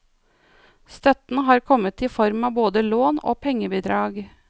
Støtten har kommet i form av både lån og pengebidrag.